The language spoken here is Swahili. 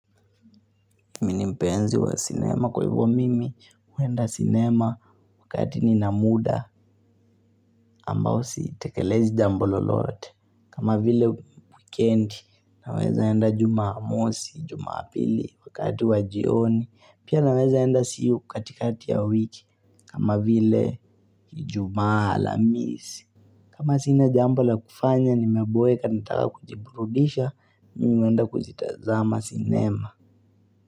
Mimi ni mpenzi wa sinema kwa hivyo mimi huenda sinema wakati ni na muda ambao sitekelezi jambo lolote. Kama vile wikendi naweza enda jumamosi, jumapili wakati wa jioni. Pia naweza enda siu katikati ya wiki kama vile ijumaa alamisi. Kama sina jambo la kufanya nimeboeka nataka kujiburudisha mimi huenda kuzitazama sinema.